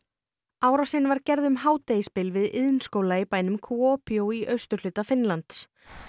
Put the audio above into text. árásin var gerð um hádegisbil við iðnskóla í bænum í austurhluta Finnlands